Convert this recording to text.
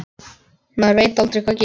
Maður veit aldrei hvað gerist.